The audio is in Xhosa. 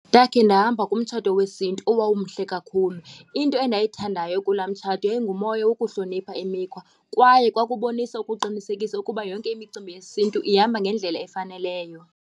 Ndakhe ndahamba kumtshato wesiNtu owawumhle kakhulu. Into endayithandayo kulaa mtshato yayingumoya wokuhlonipha imikhwa kwaye kwakubonisa ukuqinisekisa ukuba yonke imicimbi yesiNtu ihamba ngendlela efaneleyo.